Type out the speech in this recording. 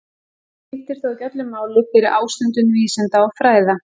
Guð skipti þó ekki öllu máli fyrir ástundun vísinda og fræða.